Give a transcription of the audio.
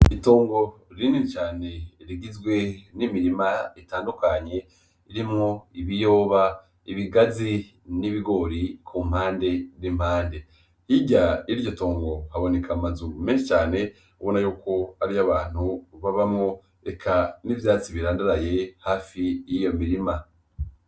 Itongo rinini cane, rigizwe n'imirima itandukanye irimwo ibiyoba, ibigazi n'ibigori ku mpande nd'impande hirya iryo tongo haboneka amazuru mese cane bona yuko ariyo abantu babamo eka n'ivyatsi birandaraye hafi y'iyo mirima.